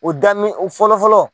O dami fɔlɔfɔlɔ.